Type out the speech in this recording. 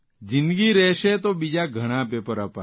જીંદગી રહેશે તો બીજા ઘણા પેપર અપાશે